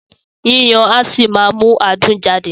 Yíyan á ṣì máa mú adùn jáde